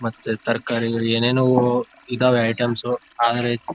ಮತ್ತು ತರಕಾರಿಗಳು ಏನೇನೊ ಇದಾವೆ ಐಟೆಮ್ಸ ಆದ್ರೆ --